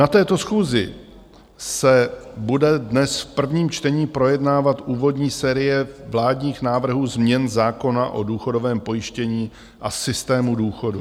Na této schůzi se bude dnes v prvním čtení projednávat úvodní série vládních návrhů změn zákona o důchodovém pojištění a systému důchodu.